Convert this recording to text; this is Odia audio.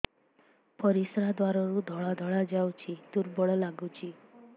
ପରିଶ୍ରା ଦ୍ୱାର ରୁ ଧଳା ଧଳା ଯାଉଚି ଦୁର୍ବଳ ଲାଗୁଚି